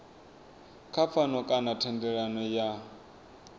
kha pfano kana thendelano ya